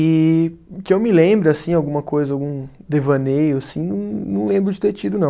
E que eu me lembro assim, alguma coisa, algum devaneio assim, não lembro de ter tido, não.